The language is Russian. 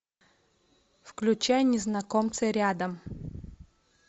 включай незнакомцы рядом